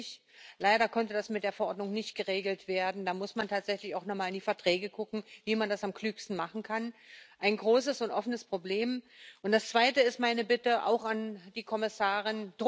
Mijn verslag is dus geen pleidooi tégen plastic, maar wel een pleidooi voor een circulaire kunstoffeneconomie, waarin we op een duurzame en verantwoordelijke manier met plastic omgaan, zodat we de nefaste gevolgen kunnen stoppen en de waarde in de keten kunnen